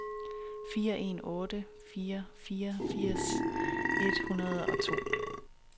fire en otte fire fireogfirs et hundrede og to